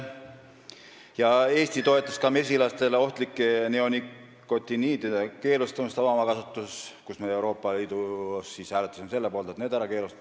Eesti toetas ka mesilastele ohtlike neonikotinoidide keelustamist avamaakasvatuses – me hääletasime Euroopa Liidus selle poolt, et need ära keelata.